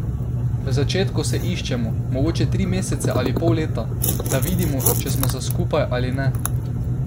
V začetku se iščemo, mogoče tri mesece ali pol leta, da vidimo, če smo za skupaj ali ne.